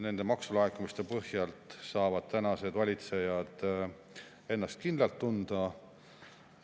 Nende maksulaekumiste põhjalt saavad tänased valitsejad ennast kindlalt tunda.